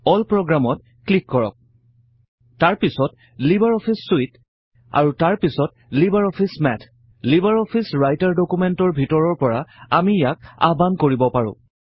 all প্ৰগ্ৰামত click কৰক তাৰ পিছত লিবাৰ অফিচ চুইট আৰু তাৰ পিছত LibreOffice Math LibreOffice Writer ডকুমেন্টৰ ভিতৰৰ পৰা আমি ইয়াক আহ্বাণ কৰিব পাৰোঁ